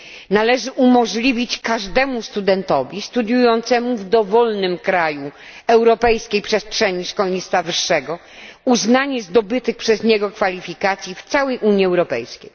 Należy umożliwić każdemu studentowi studiującemu w dowolnym kraju europejskiej przestrzeni szkolnictwa wyższego uznanie zdobytych przez niego kwalifikacji w całej Unii Europejskiej.